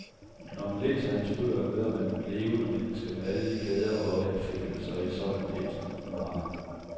Når man læser hans bøger, møder man et levende menneske med alle de glæder og anfægtelser et sådan et nu har.